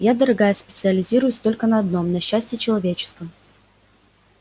я дорогая специализируюсь только на одном на счастье человеческом